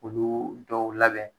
Olu dɔw labɛn